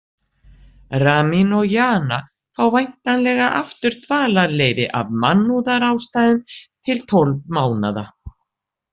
Ramin og Jana fá væntanlega aftur dvalarleyfi af mannúðarástæðum til tólf mánaða.